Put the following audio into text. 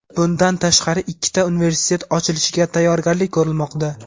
bundan tashqari ikkita universitet ochilishiga tayyorgarlik ko‘rilmoqda.